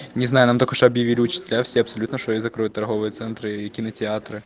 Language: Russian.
не знаю нам только что объявили учителя все абсолютно что и закроют торговые центры и кинотеатры